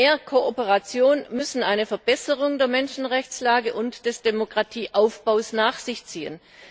Mehr Kooperation muss eine Verbesserung der Menschenrechtslage und des Demokratieaufbaus nach sich ziehen.